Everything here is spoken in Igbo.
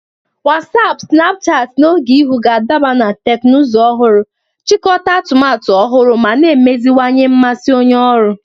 Wasiapu, Sinapuchati, na Ogeihu ga-adaba na teknụzụ ọhụrụ, jikọta atụmatụ ọhụrụ, ma na-emeziwanye mmasị onye ọrụ.